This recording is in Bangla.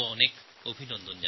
তাঁদের অনেক অভিনন্দন